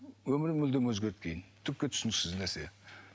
өмірім мүлдем өзгерді кейін түкке түсініксіз нәрсе